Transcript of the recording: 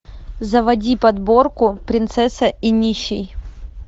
заводи подборку принцесса и нищий